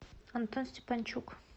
антон степанчук